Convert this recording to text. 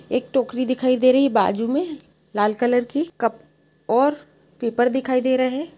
एक टोकरी दिखाई दे रही है बाजू में लाल कलर की। कप और पेपर दिखाई दे रहे हैं।